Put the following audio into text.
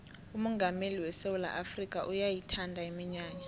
umongameli wesewula afrikha uyayithanda iminyanya